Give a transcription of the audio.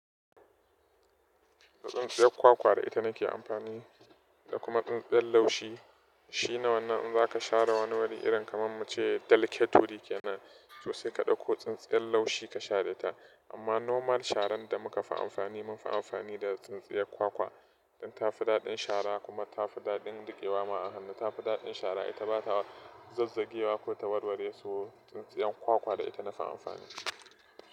Tsintsiyar kwakwa da ita nake amfani da kuma tsintsiyar laushi. Shi ne wanan za ka share wani wuri irin kamar muce delicate wuri ke nan tosai kaɗai ko tsintsiyar laushi ka share ta. Amma normal sharan da muka fi amfani mun fi amfani da tsintsiyar kwakwa. Dan tafi daɗin shara kuma tafi daɗin riƙewa ma a hannu. Tafi daɗin shara ita bata zazzage wa ko ta warware so tsintsiyar kwakwa da ita nafi amfani.